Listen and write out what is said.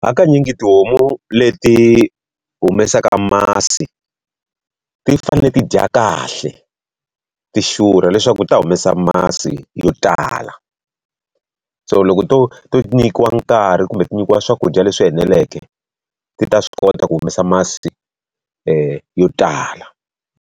Hakanyingi tihomu leti humesaka masi, ti fanele ti dya kahle ti xurha leswaku ti ta humesa masi yo tala. So loko to to nyikiwa nkarhi kumbe ti nyikiwa swakudya leswi eneleke, ti ta swi kota ku humesa masi yo tala.